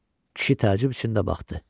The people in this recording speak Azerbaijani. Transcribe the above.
Kişi təəccüb içində baxdı.